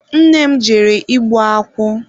Nna m jere igbu akwụ.